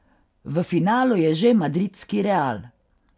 V finalu je že madridski Real.